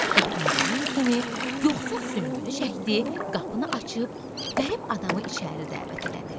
Qapını döyən kimi yoxsul süngünü çəkdi, qapını açıb qərib adamı içəri dəvət elədi.